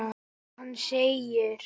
Hann segir: